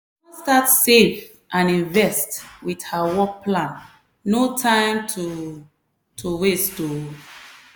she don start save and invest with her work plan no time to to waste o!